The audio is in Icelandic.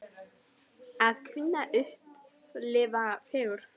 Að kunna að upplifa fegurð?